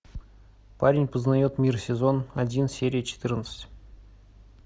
парень познает мир сезон один серия четырнадцать